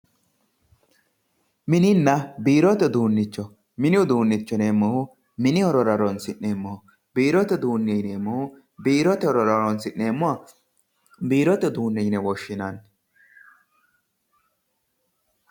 mininna biirote uduunnicho mini uduunne yineemmohu mini horora horoonsi'neemmoho biirote uduunne yineemmohu biirote horora horoonsi'neemmoha biirote uduunne yine woshshinanni